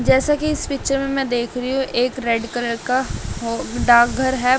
जैसा कि इस पिक्चर में मैं देख रही हूं एक रेड कलर का डार्क घर है।